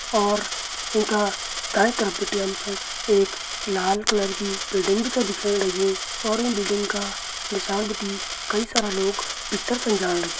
और इंका दायीं तरफ भिटि हंमसण एक लाल कलर की बिल्डिंग भी छा दिख्येण लगीं और यूँ बिल्डिंग का नीसाण भीटी कई सारा लोग भित्तर छन जाण लाग्यां।